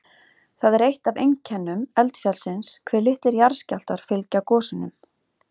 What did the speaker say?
Það er eitt af einkennum eldfjallsins hve litlir jarðskjálftar fylgja gosunum.